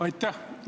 Aitäh!